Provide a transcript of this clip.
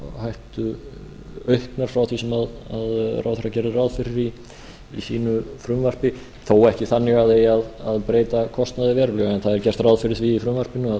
snjóflóðahættu auknar frá því sem ráðherra gerði ráð fyrir í sínu frumvarpi þó ekki þannig að það eigi að breyta kostnaði verulega en það er gert ráð fyrir því í frumvarpinu að